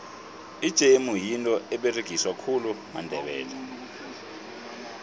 ijemu yinto eberegiswa khulu mandebele